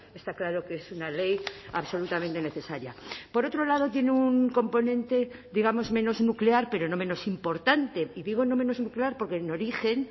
está claro que es una ley absolutamente necesaria por otro lado tiene un componente digamos menos nuclear pero no menos importante y digo no menos nuclear porque en origen